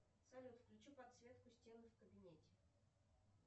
салют включи подсветку стены в кабинете